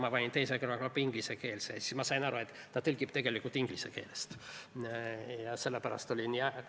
Ma panin teise kõrvaklappi ingliskeelse tõlke ja siis ma sain aru, et ta tõlgib tegelikult inglise keelest.